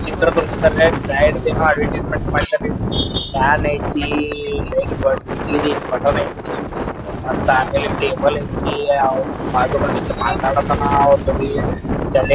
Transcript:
ಚಿತ್ರದುರ್ಗದಲ್ಲಿ ಸೈಡ್ ಅದು ಅರೆಂಜಮೆಂಟ್ ಮಾಡಿದಾನೆ ಫ್ಯಾನ್ ಐತಿ ಲೈಟ್ ಬಟನ್ ಐತಿ ಮತ್ತ ಆಮೇಲ್ ಟೇಬಲ್ ಐತಿ ಬಾಜು ಒಬ್ಬ ಮಾತಾಡಕಥಾನ ]